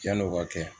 Yan'o ka kɛ